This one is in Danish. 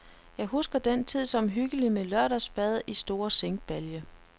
Jeg husker den tid som hyggelig med lørdagsbad i stor zinkbalje.